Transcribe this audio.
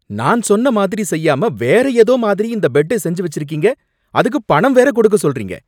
நான் சொன்ன மாதிரி செய்யாம வேற ஏதோ மாதிரி இந்த பெட்டை செஞ்சு வெச்சிருக்கீங்க, அதுக்குப் பணம் வேற குடுக்க சொல்றீங்க.